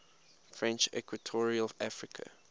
french equatorial africa